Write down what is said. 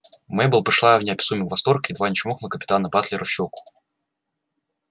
мейбелл пришла в неописуемый восторг и едва не чмокнула капитана батлера в щеку